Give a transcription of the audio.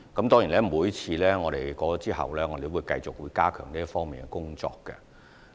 當然，每次選舉過後，我們也會繼續加強這方面的工作。